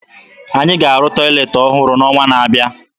Anyị ga-arụ tọyịleetị ọhụrụ n'ọnwa na-abịa